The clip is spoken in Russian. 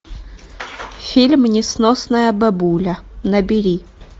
фильм несносная бабуля набери